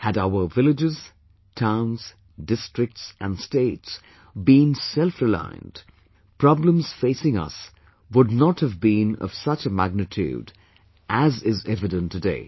Had our villages, towns, districts and states been selfreliant, problems facing us would not have been of such a magnitude as is evident today